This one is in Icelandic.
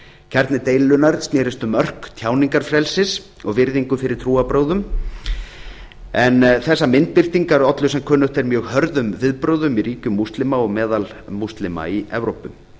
kjarni deilunnar snerust um mörk tjáningarfrelsis og virðingu fyrir trúarbrögðum en þessar myndbirtingar ollu sem kunnugt er mjög hörðum viðbrögðum í ríkjum múslima og meðal múslima í evrópu